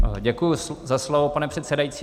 Děkuji za slovo, pane předsedající.